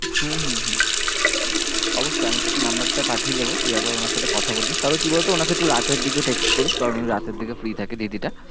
হম হম হম অবশ্যই আমি তোকে number টা পাঠিয়ে দেব তুই একবার ওনার সাথে কথা বলে, তবে কি বলতো ওনাকে একটু রাতের দিকে text করিস কারণ উনি রাতের দিকে free থাকে দিদিটা।